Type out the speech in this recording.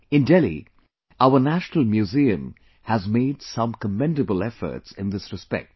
In Delhi, our National museum has made some commendable efforts in this respect